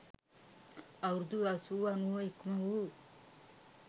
අවුරුදු අසූව අනූව ඉක්මවූ